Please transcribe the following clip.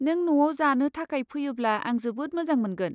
नों न'आव जानो थाखाय फैयोब्ला आं जोबोद मोजां मोनगोन।